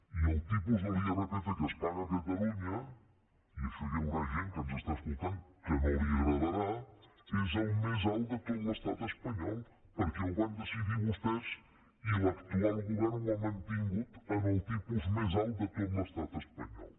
i el tipus d’irpf que es paga a catalunya i això hi haurà gent que ens està escoltant que no li agradarà és el més alt de tot l’estat espanyol perquè ho van decidir vostès i l’actual govern ho ha mantingut en el tipus més alt de tot l’estat espanyol